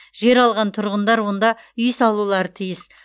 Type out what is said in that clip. жер алған тұрғындар онда үй салулары тиіс